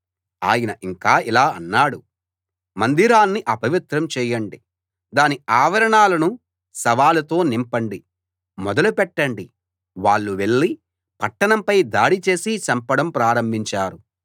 ఆయన ఇంకా ఇలా అన్నాడు మందిరాన్ని అపవిత్రం చేయండి దాని ఆవరణాలను శవాలతో నింపండి మొదలు పెట్టండి వాళ్ళు వెళ్ళి పట్టణంపై దాడి చేసి చంపడం ప్రారంభించారు